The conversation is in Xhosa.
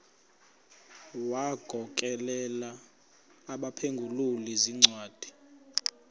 wagokelela abaphengululi zincwadi